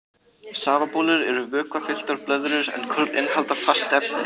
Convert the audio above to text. Safabólur eru vökvafylltar blöðrur en korn innihalda fast efni.